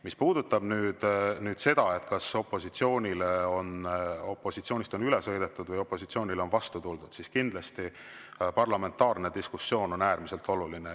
Mis puudutab nüüd seda, kas opositsioonist on üle sõidetud või opositsioonile on vastu tuldud, siis kindlasti on parlamentaarne diskussioon äärmiselt oluline.